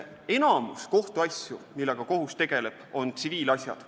Enamik kohtuasju, millega kohus tegeleb, on tsiviilasjad.